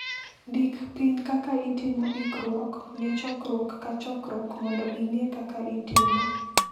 Ndik piny kaka itimo ikruok ne chokruok ka chokruok mondo ing'e kaka itimo.